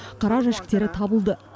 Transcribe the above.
қара жәшіктері табылды